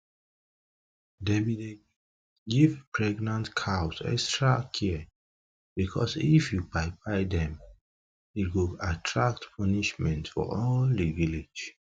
them be dey give pregnant cows extra care because if you kpai kpai them e go attract punishment for all the village